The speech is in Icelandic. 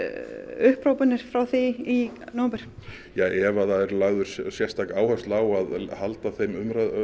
upphrópanir frá því í nóvember ja ef að það er lögð sérstök áhersla á að halda þeim